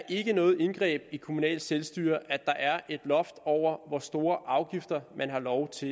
ikke er noget indgreb i det kommunale selvstyre at der er et loft over hvor store afgifter man har lov til